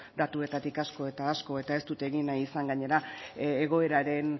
datuetatik asko eta asko eta ez dut egin nahi izan gainera egoeraren